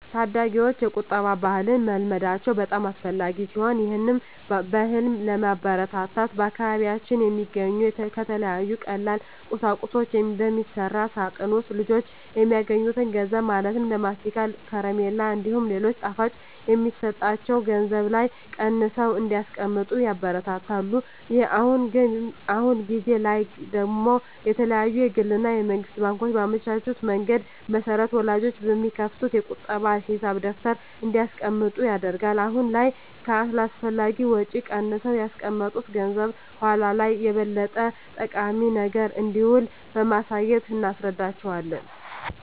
ታዳጊወች የቁጠባ ባህልን መልመዳቸው በጣም አስፈላጊ ሲሆን ይህን ባህልም ለማበረታታት በአካባቢያችን በሚገኙ ከተለያዩ ቀላል ቁሳቁሶች በሚሰራ ሳጥን ውስጥ ልጆች የሚያገኙትን ገንዘብ ማለትም ለማስቲካ፣ ከረሜላ እንዲሁም ሌሎች ጣፋጮች የሚሰጣቸው ገንዘብ ላይ ቀንሰው እንዲያስቀምጡ ይበረታታሉ። አሁን ጊዜ ላይ ደግሞ የተለያዩ የግል እና የመንግስት ባንኮች ባመቻቹት መንገድ መሰረት ወላጆች በሚከፍቱት የቁጠባ ሂሳብ ደብተር እንዲያስቀምጡ ይደረጋል። አሁን ላይ ከአላስፈላጊ ወጪ ቀንሰው ያስቀመጡት ገንዘብ በኃላ ላይ ለበለጠ ጠቃሚ ነገር እንደሚውል በማሳየት እናስረዳቸዋለን።